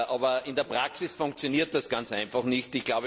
Aber in der Praxis funktioniert das ganz einfach nicht.